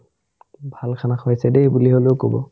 ভাল khana খোৱাইছে দেই বুলি হ'লেও ক'ব